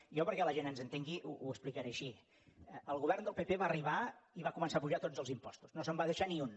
jo perquè la gent ens entengui ho explicaré així el govern del pp va arribar i va començar a apujar tots els impostos no se’n va deixar ni un